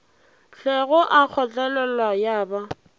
hlwego a kgotlelela ya ba